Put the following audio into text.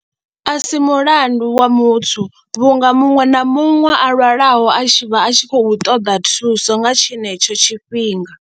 A si mulandu wa muthu vhunga muṅwe na muṅwe a lwalaho a tshi vha a tshi khou ṱoḓa thuso nga tshenetsho tshifhinga.